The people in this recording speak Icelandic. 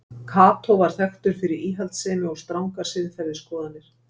Kató var þekktur fyrir íhaldssemi og strangar siðferðisskoðanir.